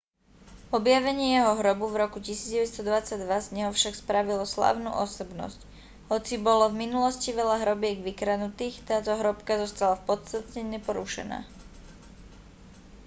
objavenie jeho hrobu v roku 1922 z neho však spravilo slávnu osobnosť hoci bolo v minulosti veľa hrobiek vykradnutých táto hrobka zostala v podstate neporušená